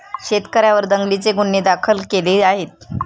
शेतकऱ्यांवर दंगलीचे गुन्हे दाखल केले आहेत.